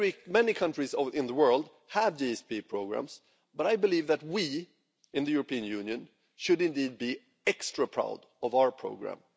Many countries in the world have GSP programmes, but I believe that we in the European Union should be extra proud of our programme.